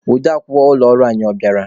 Ode akwukwọ ụlọ ọrụ anyị, ọ bịara?